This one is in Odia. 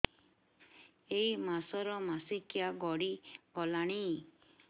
ଏଇ ମାସ ର ମାସିକିଆ ଗଡି ଗଲାଣି